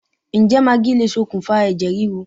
Ǹjẹ́ magí lè ṣokùnfà ẹ̀jẹ̀ríru